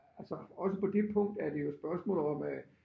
Altså også på det punkt er det jo spørgsmål om at